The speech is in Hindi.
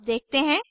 अब देखते हैं